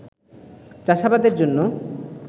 চাষাবাদের জন্য